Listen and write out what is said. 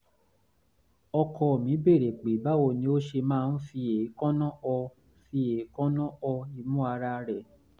ọkọ mi béèrè pe báwo ni ó ṣe máa ń fi èékánná họ fi èékánná họ imú ara rẹ̀